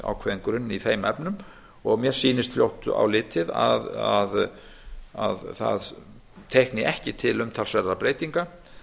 ákveðinn grunn í þeim efnum og mér sýnist fljótt á litið að það teikni ekki til umtalsverðra breytinga